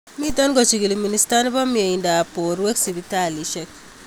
Miten kochigili minister nepo myeindap porwek sipitalishek